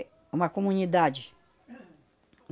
É uma comunidade.